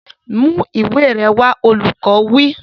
Mú ìwé rẹ wá! Olùkọ́ wí.